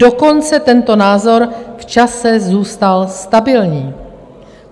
Dokonce tento názor v čase zůstal stabilní.